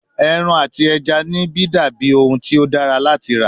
Eran ati ẹja nibi dabi ohun ti o dara lati ra